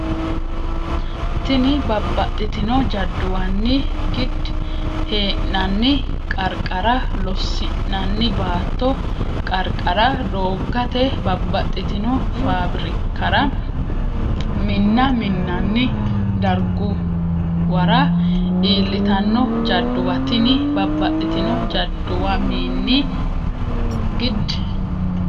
Tini babbaxxitino jadduwamini gid- hee’nanni qarqara, loosi’nanni baatto qarqara, dooggate, babbaxxitino faabrikkara, minna minnanni darguwara iillitanno jadduwaati Tini babbaxxitino jadduwamini gid-.